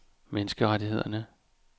menneskerettighederne